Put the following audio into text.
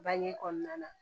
Bange kɔnɔna na